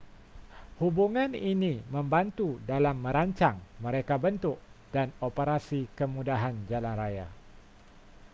hubungan ini membantu dalam merancang merekabentuk dan operasi kemudahan jalanraya